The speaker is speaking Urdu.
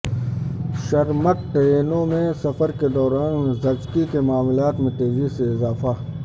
شرمک ٹرینوں میں سفر کے دوران زچگی کے معاملات میں تیزی سے اضافہ